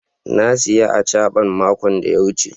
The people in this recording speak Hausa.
na siya " achaban" mako da ya wuce.